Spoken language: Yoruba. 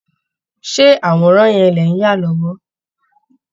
Ṣé àwòrán yẹn lẹ̀ ń yà lọ́wọ́?